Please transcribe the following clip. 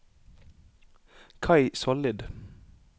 Kai Sollid